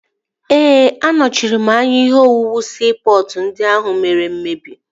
Ee, anọchiri anya ihe owuwu siipọtụ ndị ahụ mere mmebi